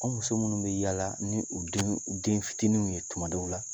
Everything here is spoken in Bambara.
An muso minnu bɛ yaala ni u den fitiniw ye tumadɔw la